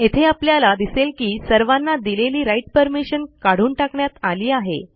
येथे आपल्याला दिसेल की सर्वांना दिलेली राइट परमिशन काढून टाकण्यात आली आहे